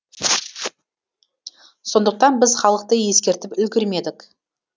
сондықтан біз халықты ескертіп үлгермедік